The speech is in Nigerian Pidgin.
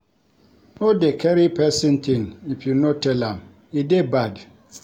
No dey carry pesin tin if you no tell am, e dey bad.